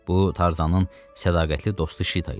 Bu Tarzanın sədaqətli dostu Şita idi.